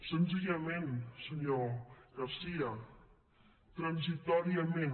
senzillament senyor garcía transitòriament